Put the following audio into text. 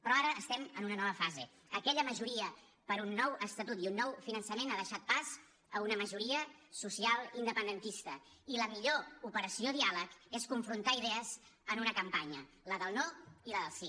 però ara estem en una nova fase aquella majoria per un nou estatut i un nou finançament ha deixat pas a una majoria social independentista i la millor operació diàleg és confrontar idees en una campanya la del no i la del sí